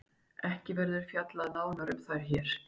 Ekki verður fjallað nánar um þær hér.